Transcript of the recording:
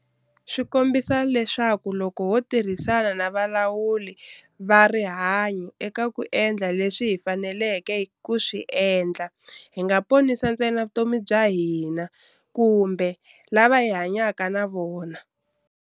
Swi kombisa leswaku loko ho tirhisana na valawuri va rihanyo eka ku endla leswi hi faneleke ku swi endla, hi nga ponisi ntsena vutomi bya hina kumbe lava hi hanyaka na vona.